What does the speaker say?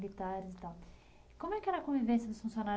dos militares e Como é que era a convivência dos funcionários